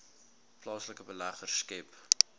plaaslike beleggers skep